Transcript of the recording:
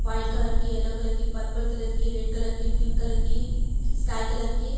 white colour के yellow colour के purple colour के रेड कलर के पिंक कलर की स्काई कलर के --